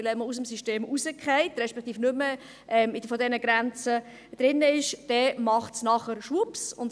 Denn wenn man aus dem System rausfällt, respektive nicht mehr in diesen Grenzen liegt, macht es nachher «schwupps».